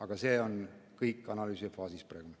Aga see on kõik analüüsifaasis praegu.